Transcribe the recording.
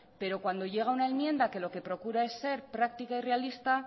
pero cuando llega una enmienda que lo que procura es ser práctica y realista